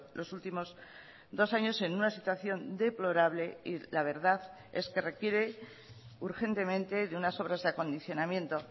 los últimos dos años en una situación deplorable y la verdad es que requiere urgentemente de unas obras de acondicionamiento